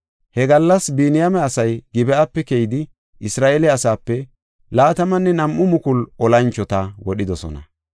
He gallas Biniyaame asay Gib7ape keyidi, Isra7eele asaape 22,000 olanchota wodhidosona.